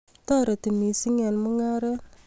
toreti missing eng mungaret